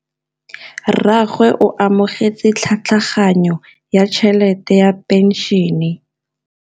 Rragwe o amogetse tlhatlhaganyô ya tšhelête ya phenšene.